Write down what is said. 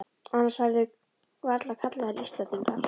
Annars væru þeir varla kallaðir Íslendingar.